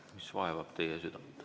Mis vaevab teie südant?